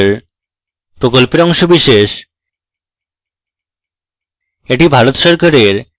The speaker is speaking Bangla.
এটি ভারত সরকারের ict mhrd এর জাতীয় শিক্ষা mission দ্বারা সমর্থিত